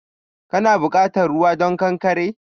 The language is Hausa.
Kana bukatan ruwa don ƙanƙare?